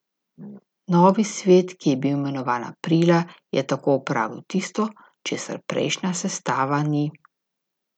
Novi svet, ki je bil imenovan aprila, je tako opravil tisto, česar prejšnja sestava ni.